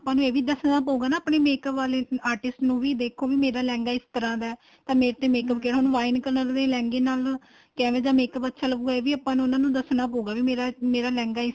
ਆਪਾਂ ਨੂੰ ਇਹ ਵੀ ਦੱਸਣਾ ਪਹੁਗਾ ਆਪਣੇ makeup ਵਾਲੇ artist ਨੂੰ ਵੀ ਦੇਖੋ ਵੀ ਮੇਰਾ ਲਹਿੰਗਾ ਇਸ ਤਰ੍ਹਾਂ ਦਾ ਏ ਤਾਂ ਮੇਰੇ ਤੇ ਕਿਹੜਾ ਹੁਣ wine color ਦੇ ਲਹਿੰਗੇ ਨਾਲ ਕਿਵੇਂ ਦਾ makeup ਅੱਛਾ ਲੱਗੂਗਾ ਏ ਵੀ ਆਪਾਂ ਨੂੰ ਉਹਨਾ ਨੂੰ ਦੱਸਣਾ ਪਉਗਾ ਵੀ ਮੇਰਾ ਲਹਿੰਗਾ ਇਸ